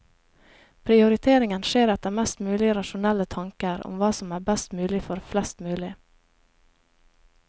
Prioriteringen skjer etter mest mulig rasjonelle tanker om hva som er best mulig for flest mulig.